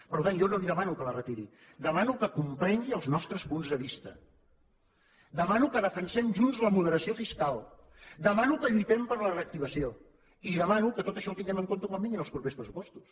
per tant jo no li demano que la retiri demano que comprengui els nostres punts de vista demano que defensem junts la moderació fiscal demano que lluitem per la reactivació i demano que tot això ho tinguem en compte quan vinguin els propers pressupostos